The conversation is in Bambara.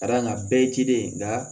Ka da kan bɛɛ ye ji de ye nka